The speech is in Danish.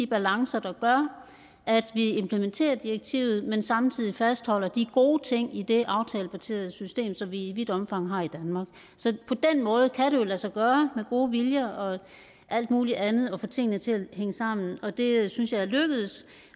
balancer der gør at vi implementerer direktivet men samtidig fastholder de gode ting i det aftalebaserede system som vi i vidt omfang har i danmark så på den måde kan det jo lade sig gøre med gode viljer og alt mulig andet at få tingene til at hænge sammen og det synes jeg er lykkedes